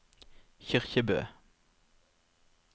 Kyrkjebø